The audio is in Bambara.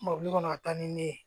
Mɔbili kɔnɔ a taa ni ne ye